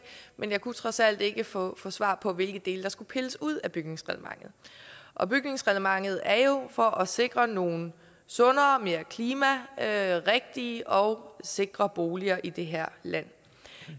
men jeg kunne trods alt ikke få svar på hvilke dele der skulle pilles ud af bygningsreglementet og bygningsreglementet er der jo for at sikre nogle sundere mere klimarigtige og sikre boliger i det her land